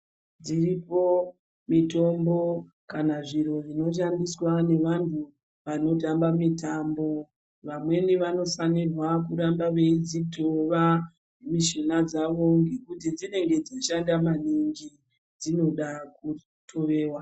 Dziripo mitombo kana zviro zvinoshandiswa nevantu vanotamba mitambo. Vamweni vanofanirwa kuramba veidzitova mishuna dzavo, ngekuti dzinenge dzichishanda maningi dzinoda kutoveva.